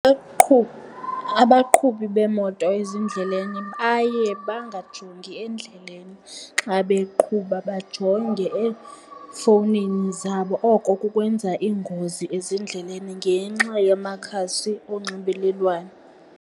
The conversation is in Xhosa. Abaqhubi beemoto ezindleleni baye bangajongi endleleni xa beqhuba bajonge efowunini zabo, oko kukwenza iingozi ezindleleni ngenxa yamakhasi onxibelelwano.